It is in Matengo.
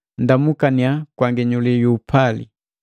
Nndamukannya kwa nginyuli ju upali.